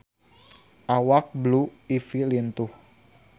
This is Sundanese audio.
Awak Blue Ivy lintuh